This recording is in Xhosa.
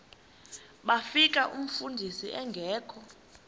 bafika umfundisi engekho